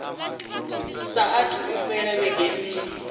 saathu u fhela vhege nṋa